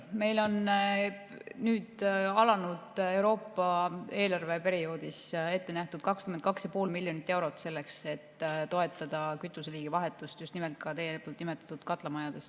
Meil on alanud Euroopa eelarveperioodil ette nähtud 22,5 miljonit eurot selleks, et toetada kütuseliigi vahetust ka just nimelt teie nimetatud katlamajades.